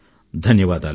ధన్యవాదాలు